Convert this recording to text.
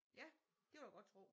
Ja det vil jeg godt tro